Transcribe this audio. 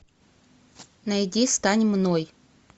найди стань мной